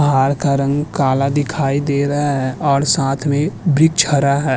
पहाड़ का रंग काला दिखाई दे रहा है और साथ में वृक्ष हरा है।